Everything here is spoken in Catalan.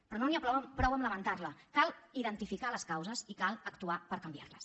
però no n’hi ha prou amb lamentar la cal identificar ne les causes i cal actuar per canviar les